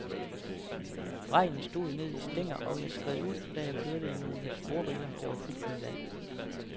Regnen stod ned i stænger, og jeg skred ud, da jeg kørte i nogle sporriller, der var fyldt med vand.